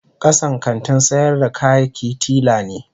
Kasan kantin sayar da kayaki tila ne.